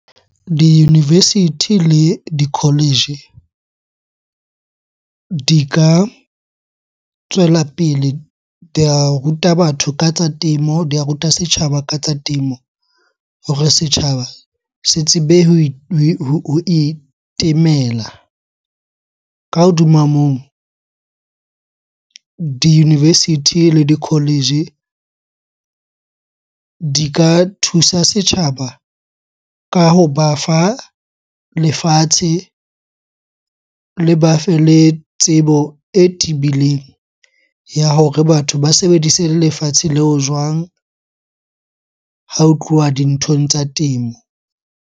Di-university le di-college di ka tswela pele di ya ruta batho ka tsa temo, di ya ruta setjhaba ka tsa temo hore setjhaba se tsebe ho itemela. Ka hodima moo, di-university le di-college di ka thusa setjhaba ka hoba fa lefatshe, le ba fe le tsebo e tebileng ya hore batho ba sebedise lefatshe leo jwang ha ho tluwa dinthong tsa temo.